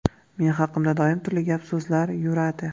Men haqimda doim turli gap-so‘zlar yuradi.